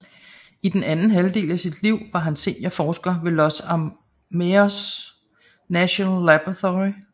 I den anden halvdel af sit liv var han seniorforsker ved Los Alamos National Laboratory